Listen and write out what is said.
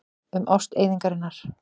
Um ást eyðingarinnar.